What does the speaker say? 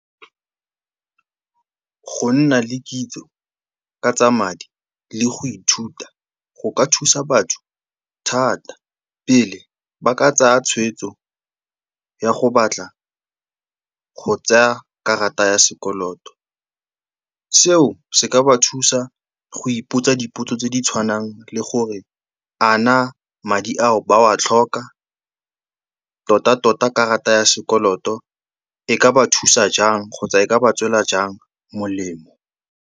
Go nna le kitso ka tsa madi le go ithuta go ka thusa batho thata pele ba ka tsaya tshweetso ya go batla go tsaya karata ya sekoloto. Seo se ka ba thusa go ipotsa dipotso tse di tshwanang le gore a naa madi ao ba a tlhoka, tota-tota karata ya sekoloto e ka ba thusa jang kgotsa e ka ba tswela jang molemo.